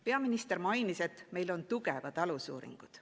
Peaminister mainis, et meil on tugevad alusuuringud.